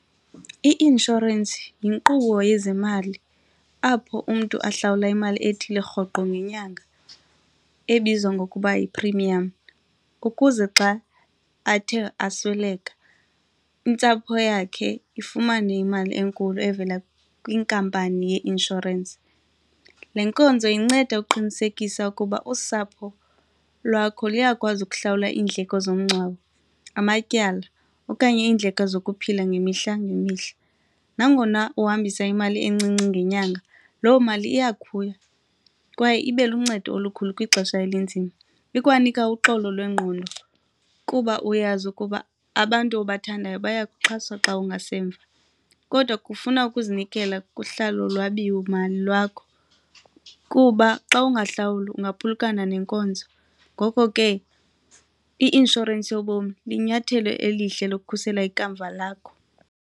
I-inshorensi yinkqubo yezemali apho umntu ahlawula imali ethile rhoqo ngenyanga ebizwa ngokuba yi-premium ukuze xa athe asweleka intsapho yakhe ifumane imali enkulu evela kwinkampani yeinshorensi. Le nkonzo inceda uqinisekisa ukuba usapho lwakho luyakwazi ukuhlawula iindleko zomngcwabo, amatyala okanye iindleko zokuphila ngemihla ngemihla. Nangona uhambisa imali encinci ngenyanga, loo mali iyakhula kwaye ibe luncedo olukhulu kwixesha elinzima, ikwanika uxolo lwengqondo kuba uyazi ukuba abantu obathandayo bayakuxhaswa xa ungasemva. Kodwa kufuna ukuzinikela kuhlalo lwabiwo mali lwakho kuba xa ungahlawuli ungaphulukana nenkonzo ngoko ke i-inshorensi yobomi linyathelo elihle lokukhusela ikamva lakho.